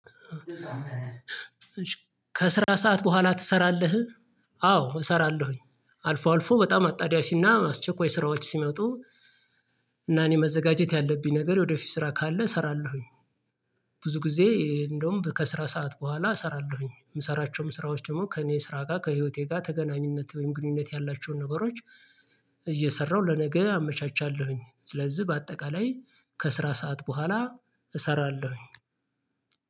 ከስራ ሰዓት በኋላ ትሰራለህ አዎ እሰራለሁኝ አልፎ አልፎ በጣም አጣዳፊና አስቸኳይ ስራዎች ሲመጡ። እና እኔ መዘጋጀት ያለብኝ ነገር ወደፊት ስራ ካለ እሰራለሁኝ። ብዙ ጊዜ እንደውም በከስራ ሰዓት በኋላ እሰራለሁኝ የምሰራቸውም ስራዎች ደግሞ ከእኔ ስራ ጋር ከህይወቴ ጋር ተገናኝነት ወይም ግንኙነት ያላቸውን ነገሮች። እየሰራሁ ለነገ አመቻቻለሁኝ ስለዚህ በአጠቃላይ ከስራ ሰዓት በኋላ እሰራለሁኝ።